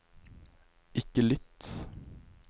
ikke lytt